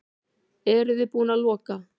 Eruði búin að loka?